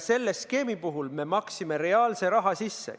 Selle skeemi puhul me maksime reaalse raha sisse.